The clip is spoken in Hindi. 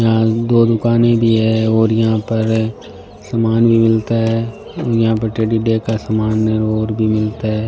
यहां दो दुकाने भी है और यहां पर समान भी मिलता है और यहां पर टेडी डे का समान और भी मिलता है।